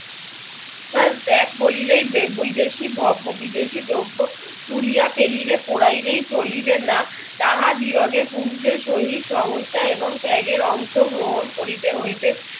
ত্যাগ করিলেই আহ বৈদেশিক বিদেশী দ্রব্য ছুড়িয়া ফেলিলে পড়াইলেই চলিবে না তাহার দিগকে পুরুষের শহীদ সমস্যা এবং ত্যাগের অংশ গ্রহণ করিতে হইবে